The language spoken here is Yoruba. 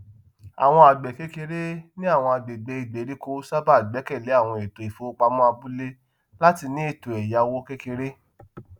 àwọn àgbẹkékeré ní àwọn àgbègbè ìgbèríko sábà gbẹkẹlé àwọn ètò ìfowopamọ abúlé láti ní ètò èyáwó kékeré